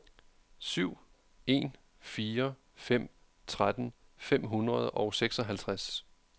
syv en fire fem tretten fem hundrede og seksoghalvtreds